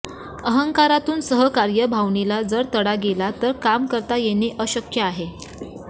अहंकारातून सहकार्य भावनेला जर तडा गेला तर काम करता येणे अशक्य आहे